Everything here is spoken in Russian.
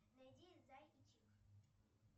найди зай и чик